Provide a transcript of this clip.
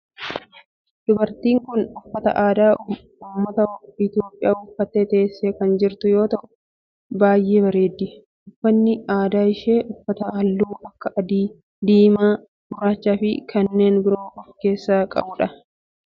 Dubartiin tun uffata aadaa ummata Itiyoophiyaa uffattee teessee kan jirtu yoo ta'u baayyee bareeddi. Uffanni aadaa isheen uffatte halluu akka adii, diimaa, gurraachaa fi kanneen biroo of irraa kan qabudha.